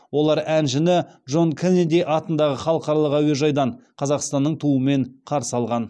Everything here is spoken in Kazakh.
олар әншіні джон кеннеди атындағы халықаралық әуежайдан қазақстанның туымен қарсы алған